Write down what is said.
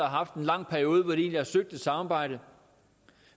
haft en lang periode hvor de egentlig har søgt et samarbejde